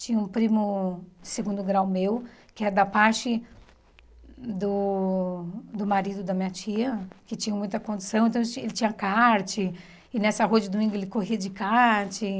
Tinha um primo de segundo grau meu, que é da parte do do marido da minha tia, que tinham muita condição, então eles tinham ele tinha kart, e nessa rua de domingo ele corria de kart.